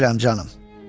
Bilirəm, canım.